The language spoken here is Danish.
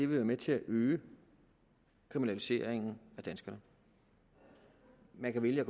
være med til at øge kriminaliseringen af danskerne man kan vælge at